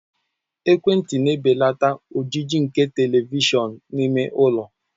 Ekwentị na-ebelata ojiji nke Televishọn n'ime ụlọ.